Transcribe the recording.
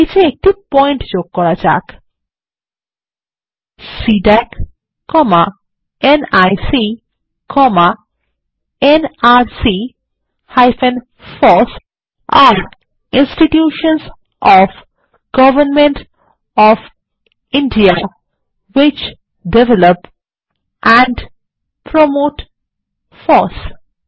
নীচে একটি পয়েন্ট যোগ করা যাক CDAC NIC nrc FOSS are ইন্সটিটিউশনসহ of government of India which develop and promote FOSS